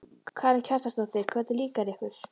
Karen Kjartansdóttir: Hvernig líkar ykkur?